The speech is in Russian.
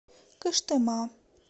кыштыма